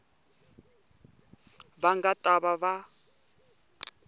va nga ta va va